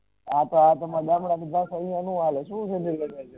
આ તો આતો મલવાનુ હુ આલે અશુ છે એનુ